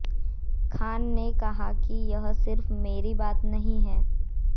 खान ने कहा कि यह सिर्फ मेरी बात नहीं है